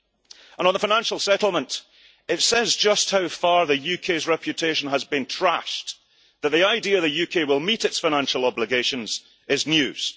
And on the financial settlement, it says just how far the UK's reputation has been trashed, that the idea that the UK will meet its financial obligations is news.